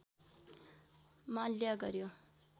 माल्या गर्‍यो